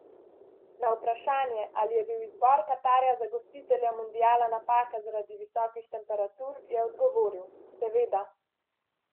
Na vprašanje, ali je bil izbor Katarja za gostitelja mundiala napaka zaradi visokih temperatur, je odgovoril: 'Seveda.